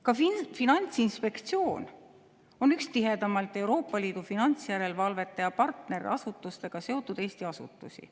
Ka Finantsinspektsioon on üks tihedaimalt Euroopa Liidu finantsjärelevalvete ja partnerasutustega seotud Eesti asutusi.